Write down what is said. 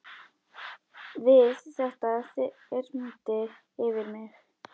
Við þetta þyrmdi yfir mig.